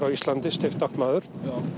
á Íslandi stiftamtmaður